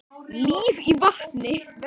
Líf í vatni.